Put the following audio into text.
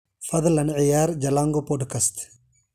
fadlan ciyaar jalango podcast